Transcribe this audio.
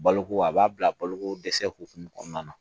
Baloko a b'a bila baloko dɛsɛ hukumu kɔnɔna na